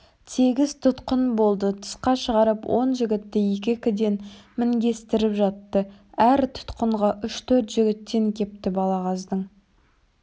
тегіс тұтқын болды тысқа шығарып он жігітті екі-екіден мінгестіріп жатты әр тұтқынға үш-төрт жігіттен кепті балағаздың